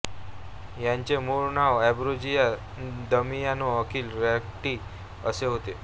याचे मूळ नाव एंब्रोजियो दामियानो अकिल रॅटी असे होते